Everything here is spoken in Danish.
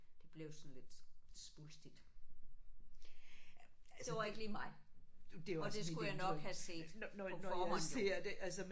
Det blev sådan lidt svulstigt. Det var ikke lige mig og det skulle jeg nok have set på forhånd jo